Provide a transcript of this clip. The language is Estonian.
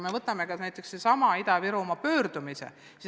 Võtame näiteks sellesama Ida-Virumaa pöördumise.